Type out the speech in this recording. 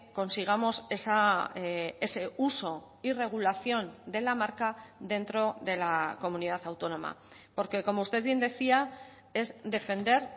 consigamos ese uso y regulación de la marca dentro de la comunidad autónoma porque como usted bien decía es defender